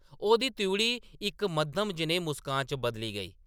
ओह्‌‌‌दी त्रिउढ़ी इक मद्धम जनेही मुस्कान च बदली गेई ।